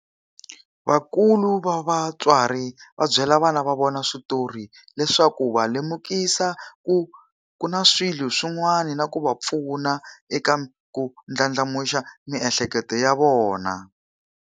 Vakulu va vatswari va byela vana va vona switori le swa ku va lemukisa ku ku na swilo swin'wana na ku va pfuna eka ku ndlandlamuxa miehleketo ya vona.